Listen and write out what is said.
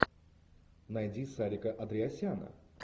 найди сарика андреасяна